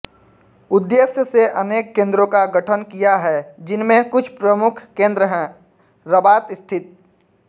उद्देश्य से अनेक केन्द्रों का गठन किया है जिनमें कुछ प्रमुख केन्द्र हैं रबात स्थित